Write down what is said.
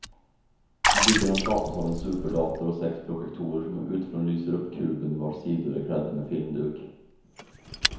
Bilderna skapas av en superdator och sex projektorer som utifrån lyser upp kuben vars sidor är klädda med filmduk.